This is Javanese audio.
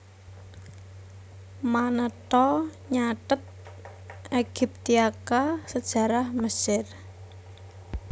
Manetho nyathet Aegyptiaca Sajarah Mesir